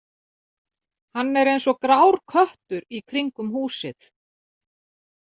Hann er eins og grár köttur í kringum húsið.